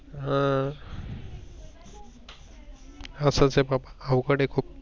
अह असच आहे बाबा अवघड आहे खूप.